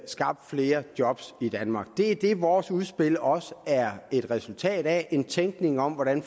skabt flere job i danmark det er det vores udspil også er et resultat af en tænkning om hvordan